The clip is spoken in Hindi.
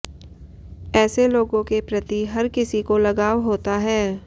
ऐसे लोगों के प्रति हर किसी को लगाव होता है